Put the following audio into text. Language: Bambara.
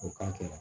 O k'a kɛ